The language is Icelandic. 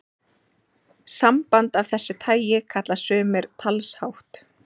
Samband af þessu tagi kalla sumir talshátt.